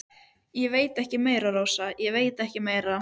Ég veit ekki meira, Rósa, ég veit ekkert meira.